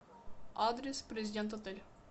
адрес президент отель